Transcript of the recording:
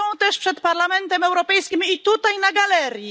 Są też przed Parlamentem Europejskim i tutaj, na galerii.